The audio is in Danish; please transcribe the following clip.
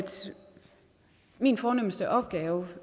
min fornemste opgave